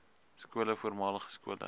skole voormalige skole